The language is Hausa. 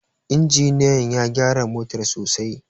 injiniyan ya gyara motar sosai